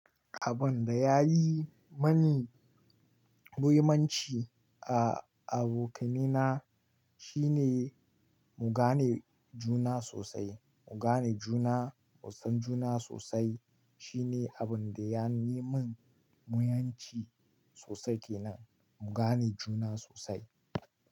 Abunda yayi mani muhimmanci a abokanaina, shine mu gane juna sosai, mu gane juna, mu san juna sosai. Shine abunda yafi min muhimmanci sosai kenan, mu gane juna sosai.